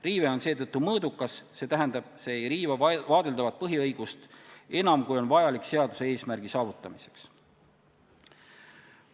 Seetõttu on riive mõõdukas, st see ei riiva vaadeldavat põhiõigust enam, kui on vajalik seaduse eesmärgi saavutamiseks.